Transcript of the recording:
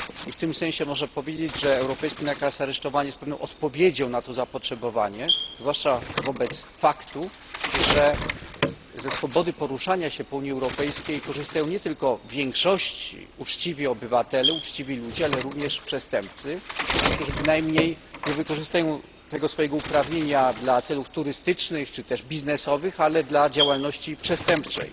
I w tym sensie należy powiedzieć, że europejski nakaz aresztowania jest pewną odpowiedzią na to zapotrzebowanie, zwłaszcza wobec faktu, że ze swobody poruszania się po Unii Europejskiej korzystają nie tylko w większości uczciwi obywatele, ale również przestępcy, którzy bynajmniej nie wykorzystują swojego uprawnienia w celach turystycznych czy też biznesowych, ale do działalności przestępczej,